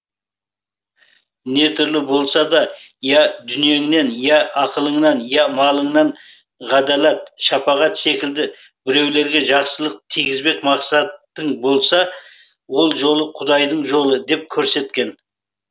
не түрлі болса да я дүниеңнен я ақылыңнан я малыңнан ғадаләт шапағат секілді біреулерге жақсылық тигізбек мақсатың болса ол жол құдайдың жолы деп керсеткен